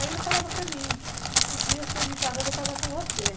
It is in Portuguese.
Aí ele falava para mim, um dia se eu me casar, eu vou casar com você.